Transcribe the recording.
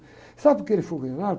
Sabe por que ele foi condenado?